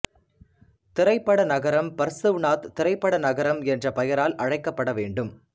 திரைப்பட நகரம் பர்சுவ்நாத் திரைப்பட நகரம் என்று பெயரால் அழைக்கப்படவேண்டும்